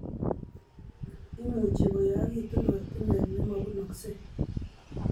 Imuchi koyakitu ortinwek nemabunaksei